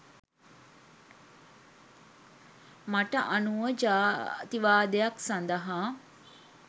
මට අනුව ජාතිවාදයක් සදහා